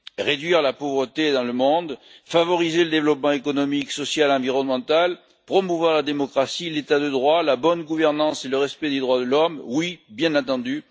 Réduire la pauvreté dans le monde, favoriser le développement économique, social et environnemental, promouvoir la démocratie, l'état de droit, la bonne gouvernance et le respect des droits de l'homme, oui, bien entendu.